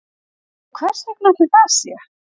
Og hversvegna ætli það sé